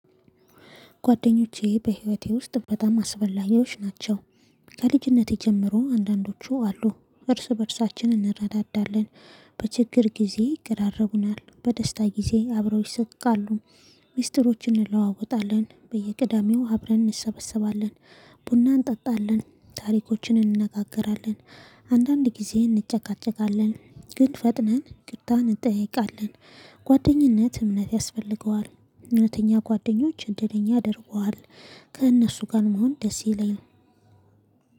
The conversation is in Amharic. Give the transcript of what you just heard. ጓደኞቼ በህይወቴ ውስጥ በጣም አስፈላጊዎች ናቸው። ከልጅነቴ ጀምሮ አንዳንዶቹ አሉ እርስ በእርሳችን እንረዳዳለን። በችግር ጊዜ ይቀራረቡናል በደስታ ጊዜ አብረው ይሰጥቃሉ። ሚስጥሮችን እንለዋወጣለን በየቅዳሜው አብረን እንሰበሰባለን። ቡና እንጠጣለን ታሪኮችን እንነጋገራለን። አንዳንድ ጊዜ እንጨቃጨቃለን ግን ፈጥነን ይቅርታ እንጠይቃለን። ጓደኝነት እምነት ያስፈልገዋል እውነተኛ ጓደኞች እድለኛ ያደርጉሀል። ከእነሱ ጋር መሆን ደስ ይለኛል